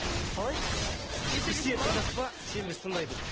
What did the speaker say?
біз сені тыңдадық па сен бізде тыңдай біл